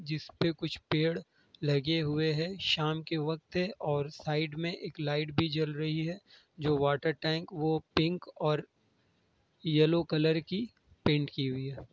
जिस पे कुछ पेड़ लगे हुए हैं| शाम का वक्त है और साइड में एक लाइट भी जल रही है जो वाटर टैंक वो पिंक और येलो कलर की पेंट की हुई है।